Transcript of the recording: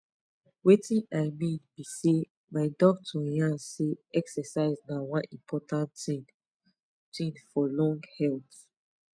wetin i mean be sey my doctor yarn say exercise na one important thing thing for long health